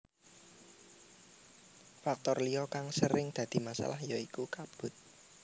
Faktor liya kang sering dadi masalah ya iku kabut